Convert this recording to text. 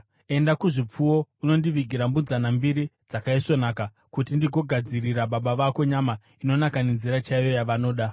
Enda kuzvipfuwo unondivigira mbudzana mbiri dzakaisvonaka, kuti ndigogadzirira baba vako nyama inonaka nenzira chaiyo yavanoda.